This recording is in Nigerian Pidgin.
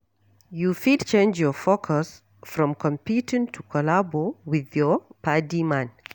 You fit change your focus from competing to collabo with your padi man